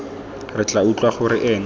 re tla utlwa gore ene